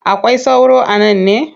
Akwai sauro a nan ne?